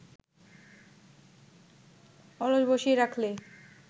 অলস বসিয়ে রাখলে